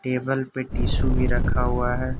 Table पे tissue भी रखा हुआ है।